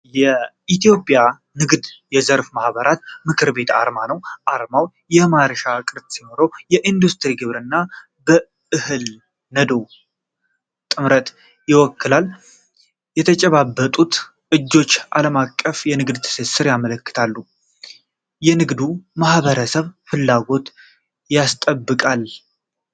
የኢትዮጵያ ንግድና የዘርፍ ማኅበራት ምክር ቤት አርማ ነው። አርማው የማርሽ ቅርጽ ሲኖረው፣ የኢንዱስትሪና ግብርና (በእህል ነዶ) ጥምረትን ይወክላል። የተጨባበጡት እጆች ዓለም አቀፍ የንግድ ትስስርን ያመለክታሉ። የንግዱን ማኅበረሰብ ፍላጎት ያስጠብቃል።